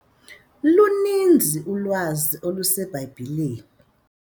Luninzi ulwazi oluseBhayibhileni.